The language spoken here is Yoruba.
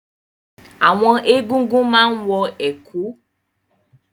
Àwọn Egúngún máa ń wọ ẹ̀kú.